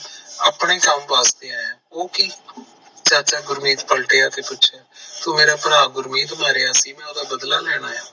ਆਪਣੇ ਕਮ ਵਾਸਤੇ ਆਯਾ, ਉਹ ਕਿ? ਚਾਚਾ ਗੁਰਮਿਰ ਪਲਟਿਆ ਤੇ ਪੁੱਛਿਆ, ਤੂੰ ਮੇਰਾ ਭਰਾ ਗੁਰਮੀਤ ਮਾਰਿਆ ਸੀ ਮੈਂ ਓਹਦਾ ਬਦਲਾ ਲੈਣ ਆਯਾ ਚਾਚਾ ਹਸਿਆ ਪਰ ਪੂਰਾ ਨਹੀਂ ਓਹਦਾ ਹੇਠ ਦੱਬ ਵਲ ਵਧਿਆ ਰਾਹ ਚ ਰੁਕ ਗਿਆ